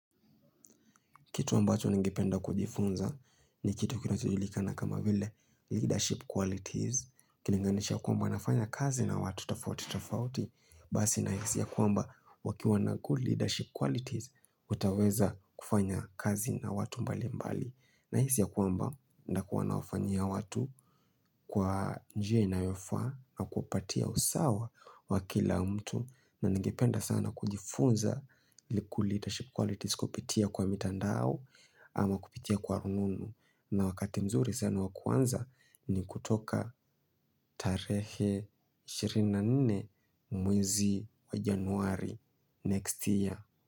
Kitu ambacho nangipenda kujifunza ni kitu kinotujulikana kama vile leadership qualities. Kilinganisha kwamba nafanya kazi na watu tofauti tofauti. Basi nahisi ya kwamba wakiwa na good leadership qualities utaweza kufanya kazi na watu mbali mbali. Nahisi ya kwamba nitakuwa nawafanyia watu kwa njia inayofaa na kupatia usawa wa kila mtu. Na nangipenda sana kujifunza good leadership qualities kupitia kwa mitandao. Ama kupitia kwa rununu na wakati mzuri sana wakuanza ni kutoka tarehe ishirini na nne mwezi wa Januari next year.